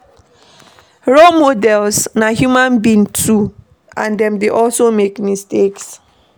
Role models na human being too and dem dey also make mistakes